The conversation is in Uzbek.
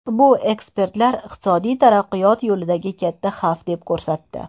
Bu ekspertlar iqtisodiy taraqqiyot yo‘lidagi katta xavf deb ko‘rsatdi.